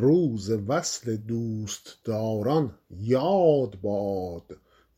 روز وصل دوستداران یاد باد